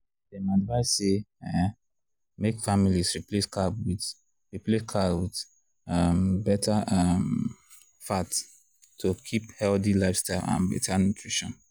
dem advise say um make families replace carb with replace carb with um better um fat to keep healthy lifestyle and better nutrition.